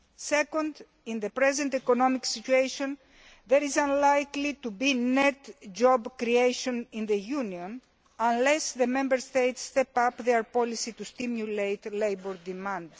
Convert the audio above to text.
Secondly, in the present economic situation, there is unlikely to be net job creation in the Union unless the Member States step up their policy to stimulate labour demand.